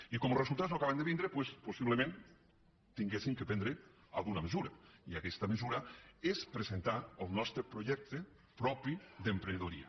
i com que els resultats no acaben de vindre doncs possiblement hauríem de prendre alguna mesura i aquesta mesura és presentar el nostre projecte propi d’emprenedoria